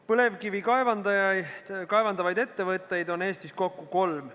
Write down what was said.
Põlevkivi kaevandavaid ettevõtteid on Eestis kokku kolm.